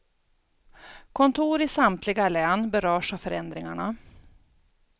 Kontor i samtliga län berörs av förändringarna.